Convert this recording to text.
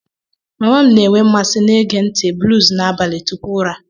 Mama m na-enwe mmasị na-ege ntị blues na abalị tupu ụra